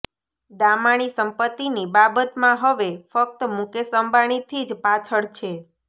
દામાણી સંપત્તિની બાબતમાં હવે ફક્ત મુકેશ અંબાણીથી જ પાછળ છે